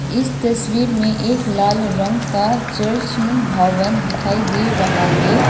इस तस्वीर में एक लाल रंग का चर्चन भवन दिखाई दे रहा है।